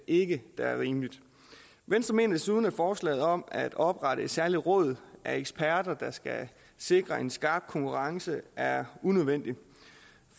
ikke er rimeligt venstre mener desuden at forslaget om at oprette et særligt råd af eksperter der skal sikre en skarp konkurrence er unødvendigt